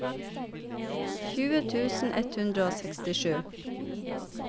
tjueåtte tusen ett hundre og sekstisju